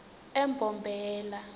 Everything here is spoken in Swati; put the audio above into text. embombela